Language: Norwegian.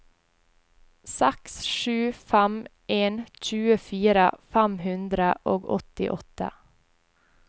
seks sju fem en tjuefire fem hundre og åttiåtte